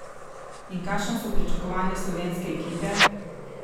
In kakšna so pričakovanja slovenske ekipe?